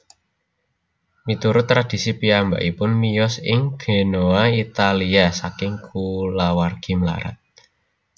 Miturut tradhisi piyambakipun miyos ing Genoa Italia saking kulawargi mlarat